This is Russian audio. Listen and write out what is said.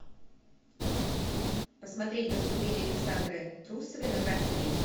посмотреть выступление александры трусовой на гран при